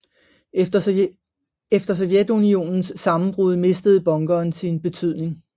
Efter Sovjetunionens sammenbrud mistede bunkeren sin betydning